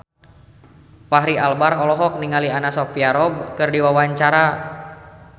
Fachri Albar olohok ningali Anna Sophia Robb keur diwawancara